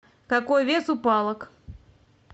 какой вес у палок